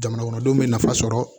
Jamanakɔnɔdenw bɛ nafa sɔrɔ